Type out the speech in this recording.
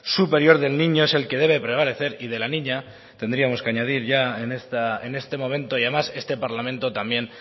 superior del niño es el que debe prevalecer y de la niña tendríamos que añadir ya en este momento y además este parlamento también